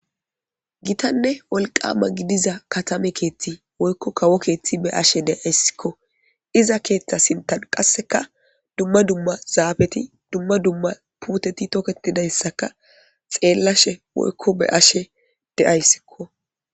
gitanne wolqama gidiza katame keethti woykko kawo keeththi be ashe deayssikko iza keeththa sintan qasseka dumma dumma zaabeti dumma dumma puuteti toketidayssaka xeellashe woykko be ashe deayssikko